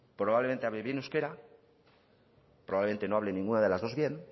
probablemente hable bien euskera probablemente no hable ninguna de las dos bien